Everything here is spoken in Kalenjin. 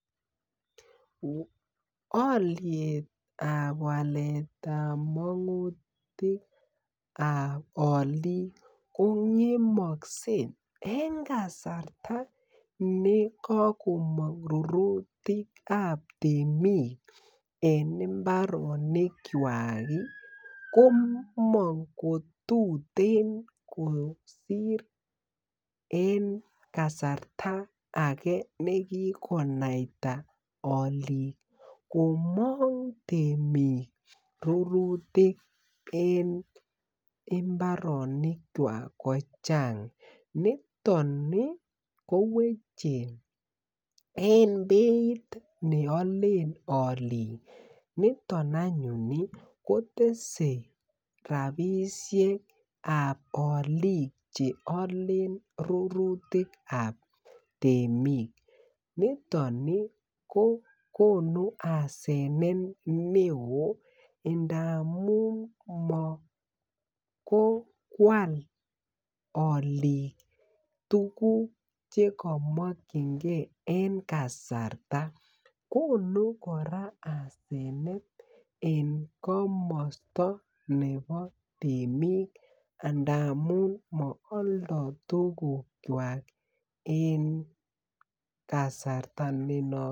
Olietab waletab mogutikab olik kongemokse en kasarta nekokomong rurutikab temik en imbaronikwak komong ko tututen kosir en kasarta ake nekikonaita olik komong temik rurutik en mbaroniwak kochang nitoni koweche en beit neolen olik niton anyuni kotese rapisheab oli cheolen rurutiab temik nitoni kokonu asenet neoo indamun mokoi kwal olik tuguk chekemokyinkee en kasarta Koni kora asenet en komosto nebo temik amun mooldo tugukwak en kasarta nenotok